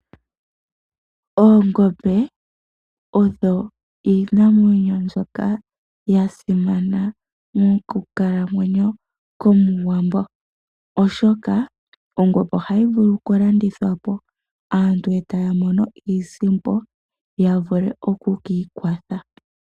Oongombe odho iinamwenyo mbyoka yasimana mokukalamwenyo komuwambo, oshoka ongombe ohayi vulu oku landithwapo aantu etaya mono iisimpo yavule oku kiikwatha.